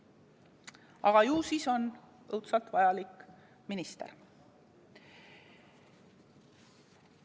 Aga ju siis on õudselt vajalik minister.